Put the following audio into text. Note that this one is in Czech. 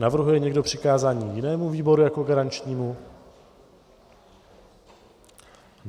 Navrhuje někdo přikázání jinému výboru jako garančnímu?